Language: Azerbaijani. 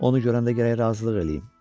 Onu görəndə gərək razılıq eləyim.